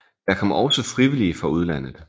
Der kom også frivillige fra udlandet